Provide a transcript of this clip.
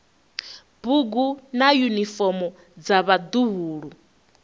bugu na yunifomo dza vhaḓuhulu